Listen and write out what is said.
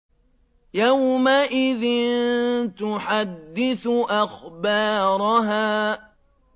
يَوْمَئِذٍ تُحَدِّثُ أَخْبَارَهَا